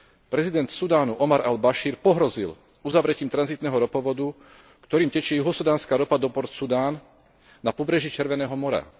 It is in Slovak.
prezident Sudánu Omar al Bašír pohrozil uzavretím tranzitného ropovodu, ktorým tečie juhosudánska ropa do Port Sudan na pobreží Červeného mora.